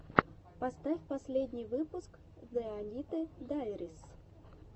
поставь последний выпуск зэ аниты дайрис